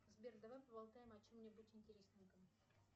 сбер давай поболтаем о чем нибудь интересненьком